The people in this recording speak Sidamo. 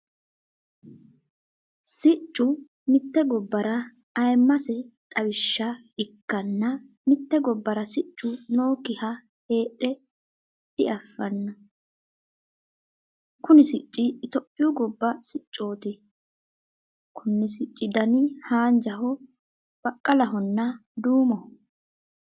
Siccu mite gobara ayimase xawisha ikanna mite gobara siccu nookiha heedhe dafano. Kunni sicci itophiyu goba siccooti. Konni sicci danni haanjaho, baqalahonna duumoho.